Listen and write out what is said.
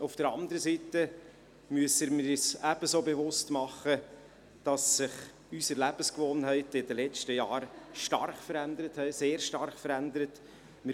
Auf der anderen Seite müssen wir uns ebenso bewusst machen, dass sich die Lebensgewohnheiten in den letzten Jahren stark, sehr stark verändert haben.